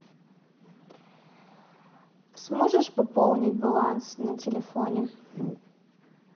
сможешь пополнить баланс на телефоне